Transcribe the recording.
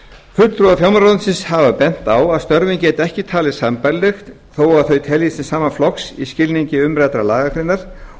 fulltrúar fjármálaráðuneytis hafa bent á að störfin geti ekki talist sambærileg þótt þau teljist til sama flokks í skilningi umræddrar lagagreinar